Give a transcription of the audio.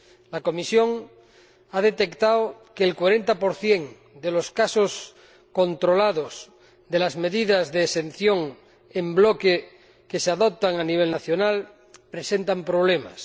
La Comisión ha detectado que el 40 de los casos controlados de las medidas de exención en bloque que se adoptan a nivel nacional presentan problemas.